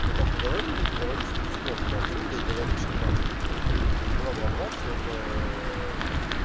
ну как бы давай не будем доводить всё-таки ситуацию до абсурда и говорить что там бла-бла-бла всё это